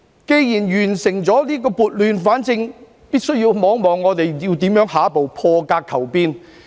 既然完成撥亂反正，便要看看如何在下一步破格求變。